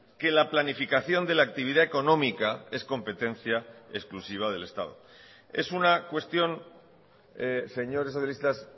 que la planificación de la actividad económica es competencia exclusiva del estado es una cuestión señores socialistas